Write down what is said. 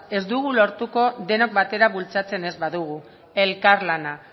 ez dugu lortuko denok batera bultzatzen ez badugu elkarlana